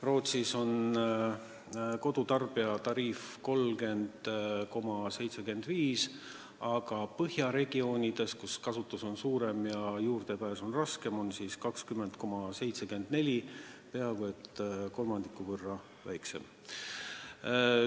Rootsis on kodutarbija tariif 30,75, aga põhjaregioonides, kus kasutus on suurem ja juurdepääs raskem, on see 20,74 – peaaegu kolmandiku võrra väiksem.